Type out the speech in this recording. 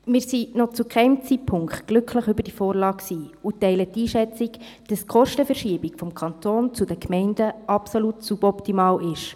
Wir waren noch zu keinem Zeitpunkt glücklich über die Vorlage und teilen die Einschätzung, wonach die Kostenverschiebung vom Kanton zu den Gemeinden absolut suboptimal ist.